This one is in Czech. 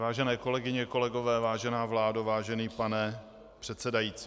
Vážené kolegyně, kolegové, vážená vládo, vážený pane předsedající.